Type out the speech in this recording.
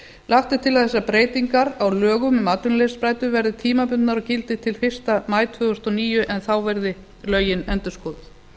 lagt er til að þessar breytingar á lögum um atvinnuleysisbætur verði tímabundnar og gildi til fyrsta maí tvö þúsund og níu en þá verði lögin endurskoðuð